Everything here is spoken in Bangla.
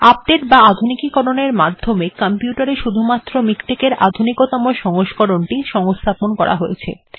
আপডেট্ বা আধুনিকীকরণের মাধ্যমে কম্পিউটার এ শুধুমাত্র মিকটেক্ এর আধুনিকতম সংস্করণটি সংস্থাপন করা হয়েছে